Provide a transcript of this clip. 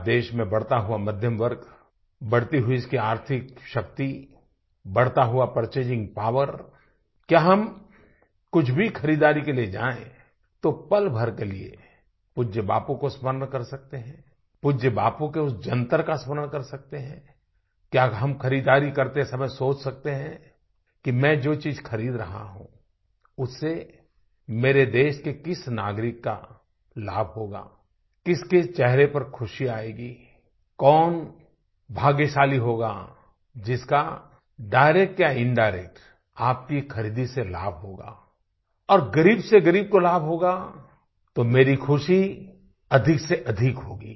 आज देश में बढ़ता हुआ मध्यम वर्ग बढ़ती हुई उसकी आर्थिक शक्ति बढ़ता हुआ परचेजिंग पॉवर क्या हम कुछ भी खरीदारी के लिए जाएँ तो पल भर के लिए पूज्य बापू को स्मरण कर सकते हैं पूज्य बापू के उस जंतर का स्मरण कर सकते हैं क्या हम खरीदारी करते समय सोच सकते हैं कि मैं जो चीज़ खरीद रहा हूँ उससे मेरे देश के किस नागरिक का लाभ होगा किसके चेहरे पर ख़ुशी आएगी कौन भाग्यशाली होगा जिसका डायरेक्ट या इंडायरेक्ट आपकी खरीदी से लाभ होगा और ग़रीब से ग़रीब को लाभ होगा तो मेरी ख़ुशी अधिकसेअधिक होगी